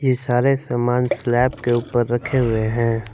ये सारे सामान स्लैब के ऊपर रखे हुए हैं।